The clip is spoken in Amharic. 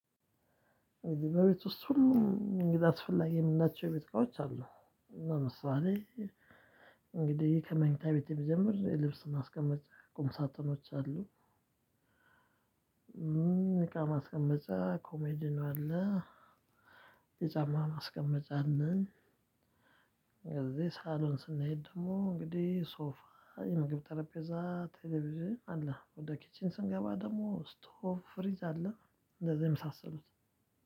እ በቤት ውስጥ ሁሉ እንግዲ አስፈላጊ የምንላቸው ቤት እቃዎች አሉ። ለምሳሌ እንግዲህ ከመኝታ ቤት የምጀምር ልብስ ስናስቀምጥ ቁም ሳጥኖች አሉ። እቃ ማስቀመጫ ኮሜዲን አለ። የጫማ ማስቀመጫን የዚህ ሳሎን ስናይ ደግሞ እንግዲህ ሶፋ የምግብ ጠረጴዛ ቴሌቪዥን አለ። ወደ ኪችን ስንገባ ደግሞ ስቶቭ ፍሪጅ አለ። እንደዚህ የመሳሰሉት